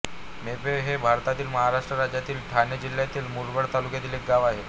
मोहप हे भारतातील महाराष्ट्र राज्यातील ठाणे जिल्ह्यातील मुरबाड तालुक्यातील एक गाव आहे